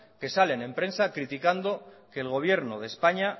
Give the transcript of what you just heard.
que salen en prensa criticando que el gobierno de españa